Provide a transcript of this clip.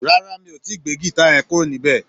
Rárá, mi ò tíì gbé gìta yẹn kúrò níbẹ̀?